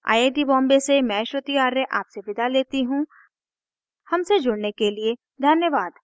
I I T Bombay से मैं श्रुति आर्य आपसे विदा लेती हूँ हमसे जुड़ने के लिए धन्यवाद